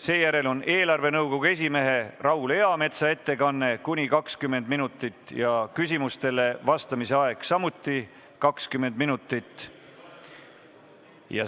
Seejärel on eelarvenõukogu esimehe Raul Eametsa ettekanne ja küsimustele vastamise aeg on samuti 20 minutit.